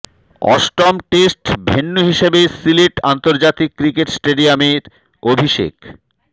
অষ্টম test venue হিসেবে সিলেট আন্তর্জাতিক ক্রিকেট স্টেডিয়ামের অভিষেক